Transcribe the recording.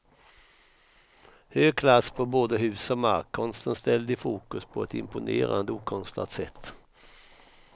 Hög klass på både hus och mark, konsten ställd i fokus på ett imponerande okonstlat sätt.